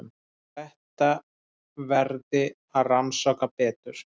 Þetta verði að rannsaka betur.